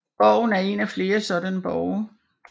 Borgen er en af flere sådanne borge